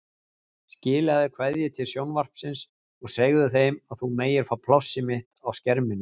Skilaðu kveðju til sjónvarpsins og segðu þeim að þú megir fá plássið mitt á skerminum.